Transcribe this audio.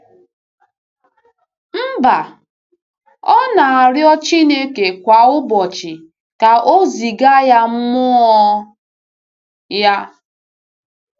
Mba, ọ na-arịọ Chineke kwa ụbọchị ka o ziga ya Mmụọ ya.